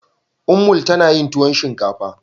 Ummul tana yin tuwon shinkafa.